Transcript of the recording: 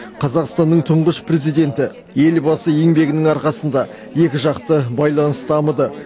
қазақстанның тұңғыш президенті елбасы еңбегінің арқасында екіжақты байланыс дамыды